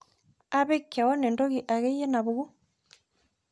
apik keono entoki akeyie napuku